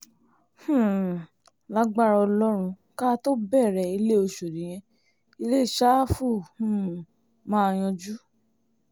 um lagbára ọlọ́run ká tóó bẹ̀rẹ̀ ilé ọ̀ṣọ́dì yẹn ilẹ̀ sáfù um máa yanjú